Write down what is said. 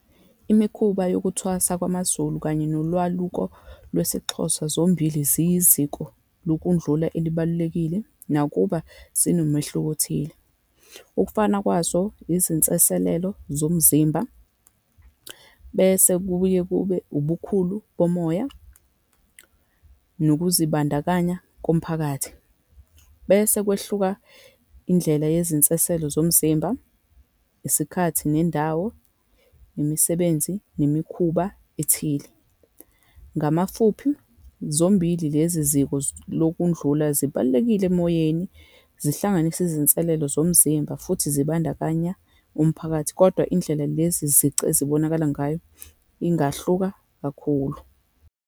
Imikhuba yokuthwasa kwamaZulu kanye nolwaluko lwesiXhosa, zombili ziyiziko lokudlula elibalulekile, nakuba zinomehluko othile. Ukufana kwazo izinseselelo zomzimba, bese kuye kube ubukhulu bomoya, nokuzibandakanya komphakathi Bese kwehluka indlela yazinseselo zomzimba, isikhathi, nendawo, imisebenzi, nemikhuba ethile. Ngamafuphi, zombili lezi ziko lokudlula zibalulekile emoyeni, zihlanganisa izinselelo zomzimba futhi zibandakanya umphakathi, kodwa indlela lezi zici ezibonakala ngayo ingahluka kakhulu.